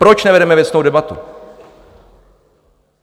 Proč nevedeme věcnou debatu?